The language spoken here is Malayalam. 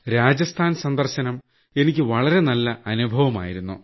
രാജസ്ഥാൻ സന്ദർശനം എനിക്ക് വളരെ നല്ല അനുഭവമായിരുന്നു